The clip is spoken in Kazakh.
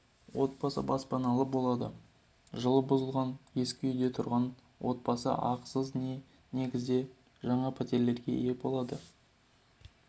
отбасы баспаналы болады жылы бұзылған ескі үйде тұрған отбасы ақысыз негізде жаңа пәтерлерге ие болады